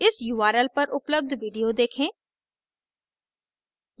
इस url पर उपलब्ध video देखें